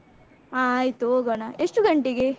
ಹ ಆಯ್ತು ಹೋಗೋಣ, ಎಷ್ಟು ಗಂಟೆಗೆ?